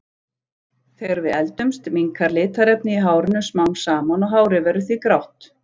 Þegar við eldumst minnkar litarefnið í hárinu smám saman og hárið verður því grátt.